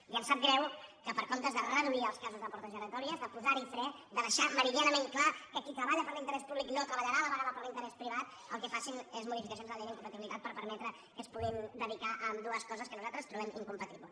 i em sap greu que en comptes de reduir els casos de portes giratòries de posar hi fre de deixar meridianament clar que qui treballa per l’interès públic no treballarà a la vegada per l’interès privat el que facin és modificacions de la llei d’incompatibilitats per permetre que es puguin dedicar a ambdues coses que nosaltres trobem incompatibles